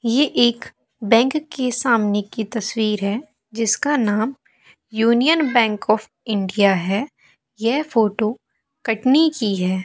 ये एक बैंक के सामने की तस्वीर है जिसका नाम यूनियन बैंक ऑफ इंडिया है यह फोटो कटनी की है।